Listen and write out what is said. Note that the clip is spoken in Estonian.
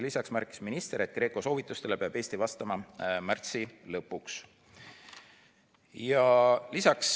Lisaks märkis minister, et GRECO soovitustele peab Eesti vastama märtsi lõpuks.